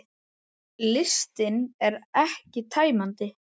Listinn er ekki tæmandi